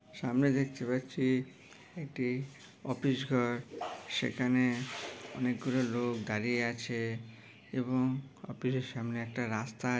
সামনে দেখতে পাচ্ছি। একটি অফিস ঘর সেখানে অনেকগুলো লোক দাঁড়িয়ে আছে। এবং অফিস এর সামনে একটা রাস্তা ।